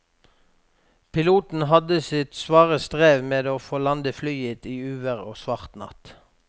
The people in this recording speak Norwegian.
Piloten hadde sitt svare strev med å få landet flyet i uvær og svart natt.